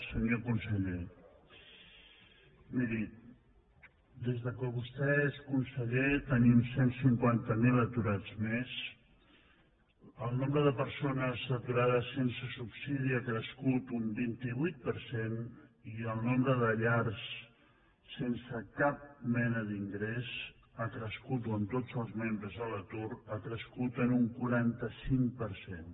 senyor conseller miri des que vostè és conseller tenim cent i cinquanta miler aturats més el nombre de persones aturades sense subsidi ha crescut un vint vuit per cent i el nombre de llars sense cap mena d’ingrés ha crescut o amb tots els membres a l’atur ha crescut en un quaranta cinc per cent